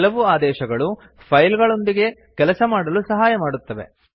ಕೆಲವು ಆದೇಶಗಳು ಫೈಲ್ ಗಳೊಂದಿಗೆ ಕೆಲಸ ಮಾಡಲು ಸಹಾಯ ಮಾಡುತ್ತವೆ